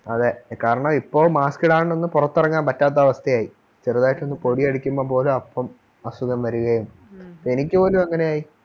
അതെ കാരണം ഇപ്പോൾ mask ഇടാണ്ട് ഒന്നും പുറത്തിറങ്ങാൻ പറ്റാത്ത അവസ്ഥയായി ചെറുതായിട്ട് ഒന്ന് പൊടി അടിക്കുമ്പോൾ പോലും അപ്പം അസുഖം വരുകയും എനിക്ക് പോലും അങ്ങനെയായി